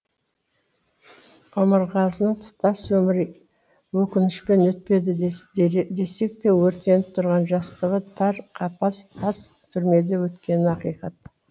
омарғазының тұтас өмірі өкінішпен өтпеді десекте өртеніп тұрған жастығы тар қапас тас тұрмеде өткені ақиқат